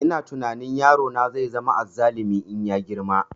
Ina tunani yaro na zai zama azzalumi in ya girma